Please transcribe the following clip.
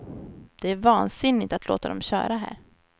Det är vansinigt att låta dem köra här.